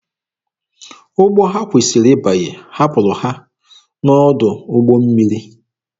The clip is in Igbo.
Ụgbọ ha kwesịrị ịbanye hapụrụ ha n'ọdụ ụgbọ mmiri.